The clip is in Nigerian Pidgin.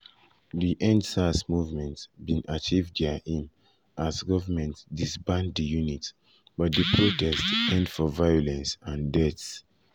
di #endsars movement bin achieve dia aim as goment um disband di unit but di protest end for violence and deaths. um